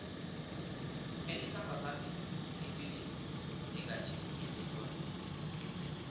elikhamba phambili ifilimu njenganje yi the tourist